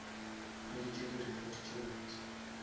hweditše di report tše botse